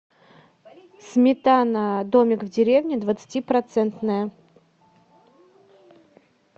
сметана домик в деревне двадцати процентная